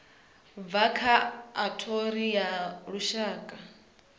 bvaho kha othari ya lushaka